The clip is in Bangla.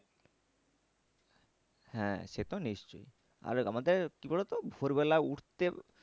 হ্যাঁ সে তো নিশ্চই আর আমাদের কি বলতো ভোর বেলা উঠতে